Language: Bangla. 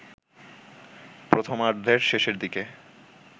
প্রথমার্ধের শেষের দিকে